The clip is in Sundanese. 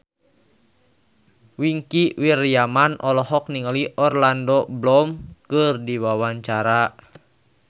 Wingky Wiryawan olohok ningali Orlando Bloom keur diwawancara